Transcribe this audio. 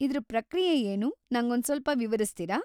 ಇದ್ರ ಪ್ರಕ್ರಿಯೆ ಏನು, ನಂಗೊಂದ್‌ಸ್ವಲ್ಪ ವಿವರಿಸ್ತೀರಾ?